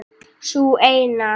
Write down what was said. Sú eina!